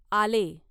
आले